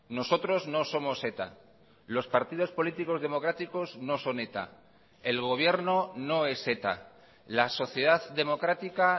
nosotros no somos eta los partidos políticos democráticos no son eta el gobierno no es eta la sociedad democrática